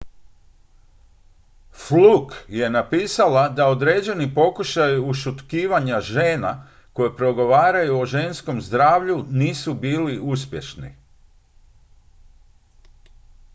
fluke je napisala da određeni pokušaji ušutkivanja žena koje progovaraju o ženskom zdravlju nisu bili uspješni